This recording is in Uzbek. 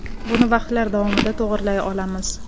Buni vaqtlar davomida to‘g‘rilay olamiz.